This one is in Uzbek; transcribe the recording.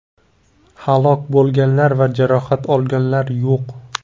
Halok bo‘lganlar va jarohat olganlar yo‘q.